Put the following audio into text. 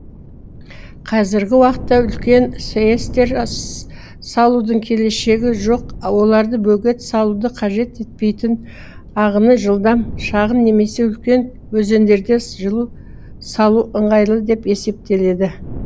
қазіргі уақытга үлкен сэс тер салудың келешегі жоқ оларды бөгет салуды қажет етпейтін ағыны жылдам шағын немесе үлкен өзендерде жылу салу ыңғайлы деп есептеледі